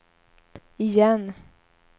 igen